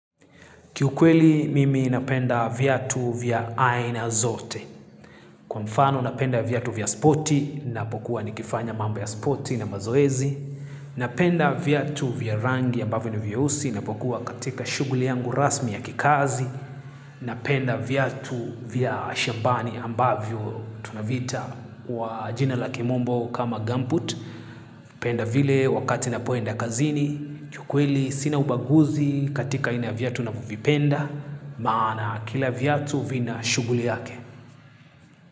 Kiukweli mimi napenda viatu vya aina zote. Kwa mfano napenda viatu vya spoti, ninapokuwa nikifanya mambo ya spoti na mazoezi. Napenda viatu vya rangi ambavyo ni vyeusi, ninapokuwa katika shughuli yangu rasmi ya kikazi. Napenda viatu vya shambani ambavyo tunaviita kwa jina la kimombo kama gumboot. Napenda vile wakati napoenda kazini. Kiukweli sina ubaguzi katika aina ya viatu navyovipenda. Maana kila viatu vina shughuli yake.